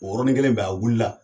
O yɔrɔnin kelen bɛ a wulila